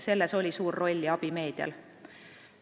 Selles oli suur roll ja abi meedial.